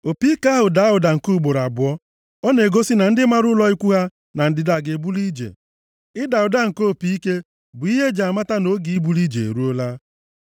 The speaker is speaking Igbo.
Opi ike ahụ daa ụda nke ugboro abụọ, ọ na-egosi na ndị mara ụlọ ikwu ha na ndịda ga-ebuli ije. Ịda ụda nke opi ike bụ ihe e ji amata na oge ibuli ije eruola.